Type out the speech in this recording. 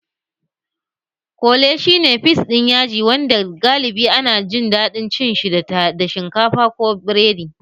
Kole shi ne fis ɗin yaji wanda galibi ana jin daɗin cin shi da shinkafa ko biredi